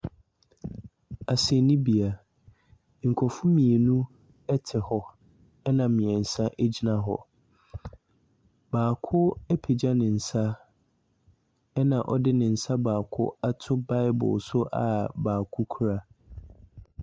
Asɛndibea. Nkrɔfo mmienu ɛte hɔ, ɛna mmiɛnsa egyina hɔ. Baako apegya nensa ɛna ɔde nensa baako ato bible so a baako kura.